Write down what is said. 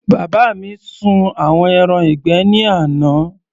Bàbá mi sun àwọn ẹran ìgbẹ́ ní àná.